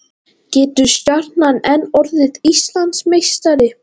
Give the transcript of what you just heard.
Getur Stjarnan enn orðið Íslandsmeistari?